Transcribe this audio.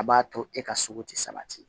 A b'a to e ka sogo ti sabati